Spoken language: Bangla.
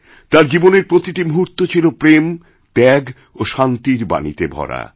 তাঁর জীবনের প্রতিটি মুহূর্ত ছিল প্রেম ত্যাগ ও শান্তিরবাণীতে ভরা